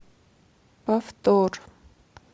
повтор